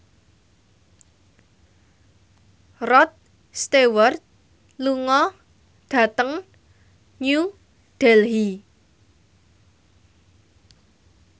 Rod Stewart lunga dhateng New Delhi